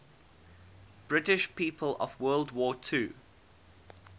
british people of world war ii